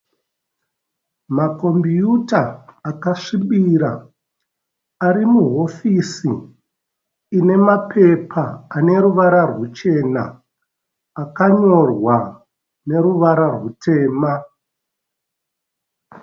Makombiyuta akasvibira ari mahofisi ine mapepa ane ruvara rwuchena akanyorwa neruvara rwutema.